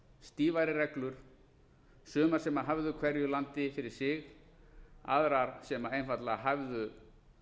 stífari reglur sumar sem hæfðu hverju landi fyrir sig aðrar sem einfaldlega hæfðu